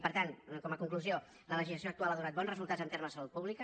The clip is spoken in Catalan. per tant com a conclusió la legislació actual ha donat bons resultats en termes de salut pública